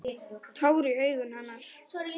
Tár í augum hennar.